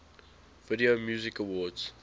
video music awards